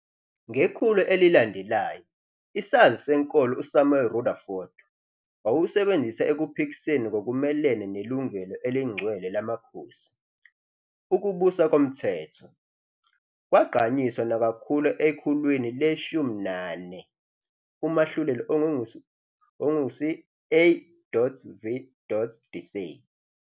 Ngekhulu elilandelayo, isazi senkolo uSamuel Rutherford wawusebenzisa ekuphikiseni ngokumelene nelungelo elingcwele lamakhosi. "Ukubusa komthetho" kwagqanyiswa nakakhulu ekhulwini le-19 umahluleli ongungisi uA. V. Dicey.